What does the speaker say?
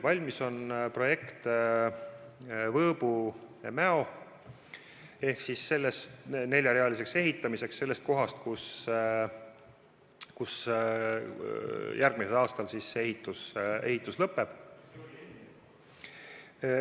Valmis on Võõbu–Mäo lõigu projekt, et ehitada tee neljarealiseks alates sellest kohast, kus järgmisel aastal ehitus lõpeb.